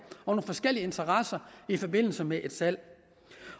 og forskellige interesser i forbindelse med et salg